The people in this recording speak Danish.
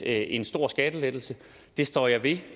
en stor skattelettelse det står jeg ved